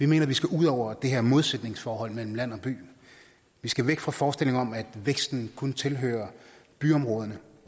mener at vi skal ud over det her modsætningsforhold mellem land og by vi skal væk fra forestillingen om at væksten kun tilhører byområderne